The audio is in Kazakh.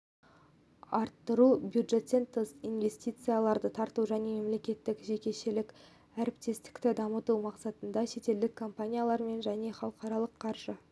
арттыру бюджеттен тыс инвестицияларды тарту және мемлекеттік-жекешелік әріптестікті дамыту мақсатында шетелдік компаниялармен және халықаралық қаржы